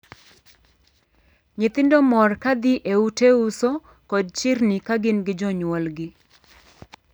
Nyithindo mor ka dhii e ute uso kod chirni ka gin gi jonyuolgi.